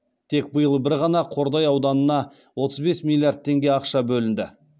тек биыл бір ғана қордай ауданына отыз бес миллиард теңге ақша бөлінді